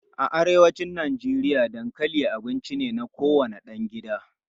A'a, a arewacin Najeriya dankali abinci ne na kowane ɗan gida.